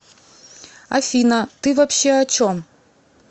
афина ты вообще о чем